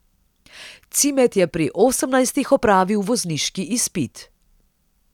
Cimet je pri osemnajstih opravil vozniški izpit.